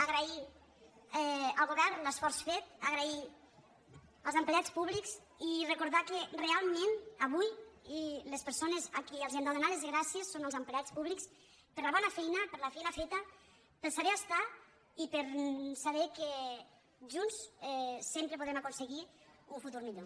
agrair al govern l’esforç fet donar les grà·cies als empleats públics i recordar que realment avui a les persones a qui els hem de donar les gràcies són als empleats públics per la bona feina per la feina fe·ta per saber estar i per saber que junts sempre podrem aconseguir un futur millor